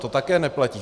To také neplatí.